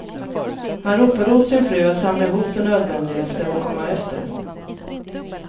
Han ropade åt sin fru att samla ihop det nödvändigaste och komma efter.